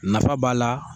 Nafa b'a la